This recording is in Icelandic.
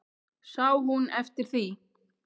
Sá hún eftir því?